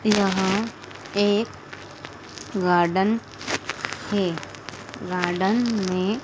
यहां एक गार्डन है गार्डन में--